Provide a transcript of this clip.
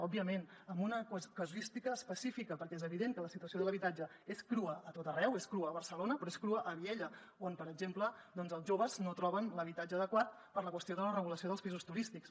òbviament amb una casuística específica perquè és evident que la situació de l’habitatge és crua a tot arreu és crua a barcelona però és crua a viella on per exemple els joves no troben l’habitatge adequat per la qüestió de la regulació dels pisos turístics